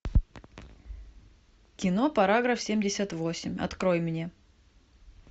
кино параграф семьдесят восемь открой мне